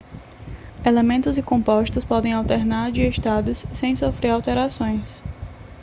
elementos e compostos podem alternar de estados sem sofrer alterações